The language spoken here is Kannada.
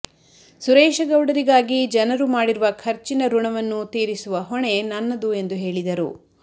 ಸುರೇಶಗೌಡರಿಗಾಗಿ ಜನರು ಮಾಡಿರುವ ಖರ್ಚಿನ ಋಣವನ್ನು ತೀರಿಸುವ ಹೊಣೆ ನನ್ನದು ಎಂದು ಹೇಳಿದರು